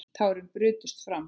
Tárin brutust fram.